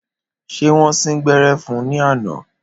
Ṣé wọn sín gbẹ́rẹ́ fún ní àná?